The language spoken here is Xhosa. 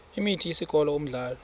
imini isikolo umdlalo